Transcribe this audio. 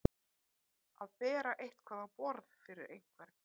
Að bera eitthvað á borð fyrir einhvern